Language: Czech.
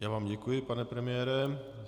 Já vám děkuji, pane premiére.